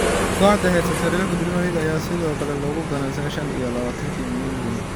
Kooxda heysata horyaalka Premier League ayaa sidoo kale lagu ganaaxay shan iyo labatanka milyan ginni.